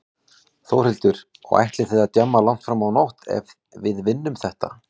Þórhildur: Og ætlið þið að djamma langt fram á nótt ef við vinnum þetta?